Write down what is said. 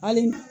Hali